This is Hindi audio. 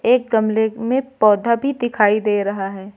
एक गमले में पौधा भी दिखाई दे रहा है।